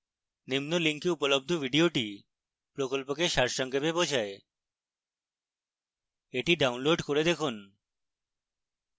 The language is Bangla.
নিম্ন link উপলব্ধ video প্রকল্পকে সারসংক্ষেপ বোঝায়